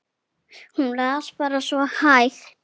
Hún las bara svo hægt.